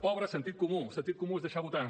pobre sentit comú sentit comú és deixar votar